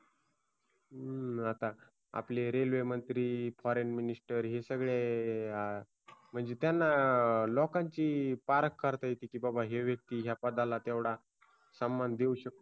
हूं आता आपले रेल्वेमंत्री FOREIGN MINISTER हे सगळे म्हणजे त्यांना लोकांची पारख करता येते की बाबा हा व्यक्ती ह्या पदाला तेवढा सन्मान देऊ शकते